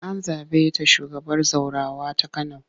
An zaɓe ta shugabar zaurawa ta Kano.